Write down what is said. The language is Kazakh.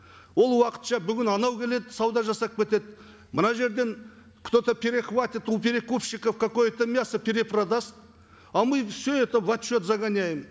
ол уақытша бүгін анау келеді сауда жасап кетеді мына жерден кто то перехватит у перекупщиков какое то мясо перепродаст а мы все это в отчет загоняем